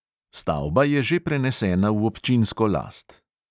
Stavba je že prenesena v občinsko last.